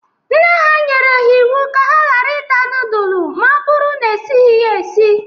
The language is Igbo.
Nne ha nyere ha iwu ka ha gara ita nudul ma o bụghi na esiri ya esi.